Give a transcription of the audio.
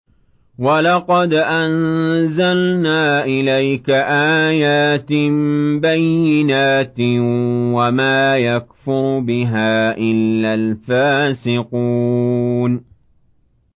وَلَقَدْ أَنزَلْنَا إِلَيْكَ آيَاتٍ بَيِّنَاتٍ ۖ وَمَا يَكْفُرُ بِهَا إِلَّا الْفَاسِقُونَ